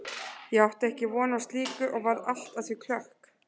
Ég átti ekki von á slíku og varð allt að því klökk.